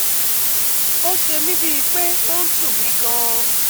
Ó ṣe mí bíi pé ó ń dun mi gan-an